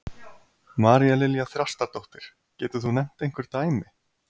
María Lilja Þrastardóttir: Getur þú nefnt einhver dæmi?